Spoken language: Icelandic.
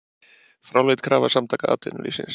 Fráleit krafa Samtaka atvinnulífsins